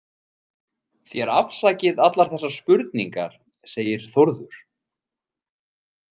Þér afsakið allar þessar spurningar, segir Þórður.